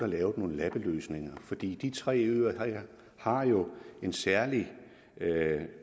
lavet nogle lappeløsninger for de tre øer her har jo en særlig